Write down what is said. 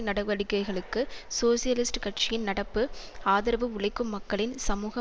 நடவடிக்கைகளுக்கு சோசியலிஸ்ட் கட்சியின் நடப்பு ஆதரவு உழைக்கும் மக்களின் சமூக